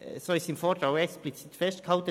So ist es auch im Vortrag explizit festgehalten.